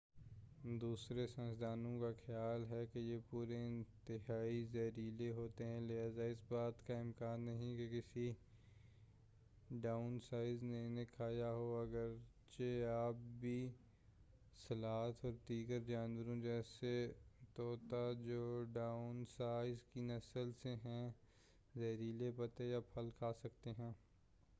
دوسرے سائنسدانوں کا خیال ہے کہ یہ پودے انتہائی زہریلے ہوتے ہیں لہٰذا اس بات کا امکان نہیں کہ کسی ڈائنوسار نے انہیں کھایا ہو، اگرچہ آج بھی سلاتھ اور دیگر جانور جیسے طوطا جو ڈائنوسارز کی نسل سے ہیں زہریلے پتے یا پھل کھا سکتے ہیں۔